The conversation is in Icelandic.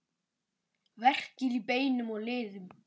Verkir í beinum og liðum